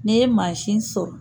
N'e ye mansin sɔrɔ.